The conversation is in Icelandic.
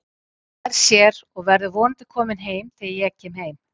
Hann nær sér og verður vonandi kominn heim þegar ég kem heim